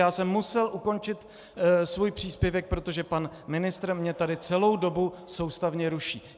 Já jsem musel ukončit svůj příspěvek, protože pan ministr mě tady celou dobu soustavně ruší.